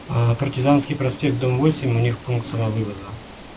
партизанский проспект дом восемь у них пункт самовывоза